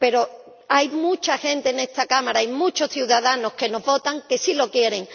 Pero hay mucha gente en esta Cámara y muchos ciudadanos que nos votan que sí lo quieren.